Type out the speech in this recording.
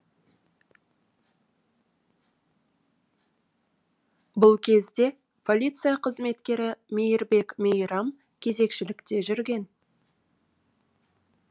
бұл кезде полиция қызметкері мейірбек мейрам кезекшілікте жүрген